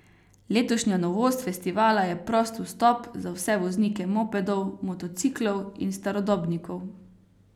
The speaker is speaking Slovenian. Letošnja novost festivala je prost vstop za vse voznike mopedov, motociklov in starodobnikov.